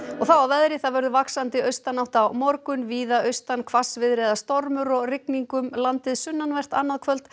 þá að veðri það verður vaxandi austanátt á morgun víða austan hvassviðri eða stormur og rigning um landið sunnanvert annað kvöld